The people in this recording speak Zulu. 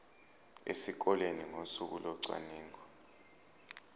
esikoleni ngosuku locwaningo